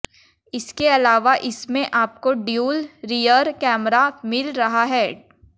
इसके अलावा इसमें आपको ड्यूल रियर कैमरा मिल रहा है